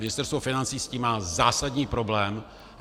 Ministerstvo financí s tím má zásadní problém.